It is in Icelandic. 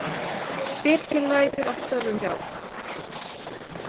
Birkir lætur af störfum hjá.